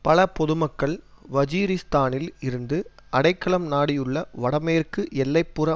பல பொதுமக்கள் வஜீரிஸ்தானில் இருந்து அடைக்கலம் நாடியுள்ள வடமேற்கு எல்லை புற